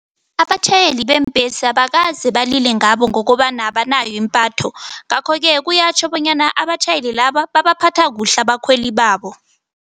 Abatjhayeli beembhesi abakaze balile ngabo ngokobana abanayo impatho, ngakho-ke kuyatjho bonyana abatjhayeli laba babaphatha kuhle abakhweli babo.